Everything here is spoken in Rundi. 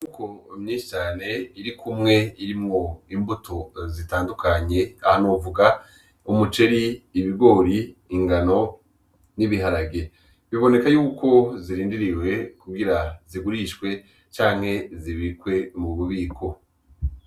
Uko umyisane iri kumwe irimwo imbuto zitandukanye ahanovuga umuceri ibigori ingano n'ibiharage biboneka yuko zirindiriwe kuwira zigurishwe canke zibirikwe mu bubiko.